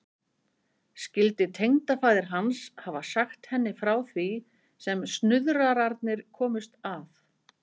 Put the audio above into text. Skyldi tengdafaðir hans hafa sagt henni frá því sem snuðrararnir komust að?